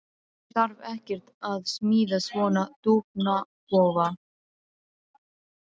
Ég þarf ekkert að smíða svona dúfnakofa.